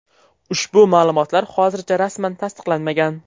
Ushbu ma’lumotlar hozircha rasman tasdiqlanmagan.